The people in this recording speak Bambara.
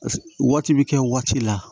waati bɛ kɛ waati la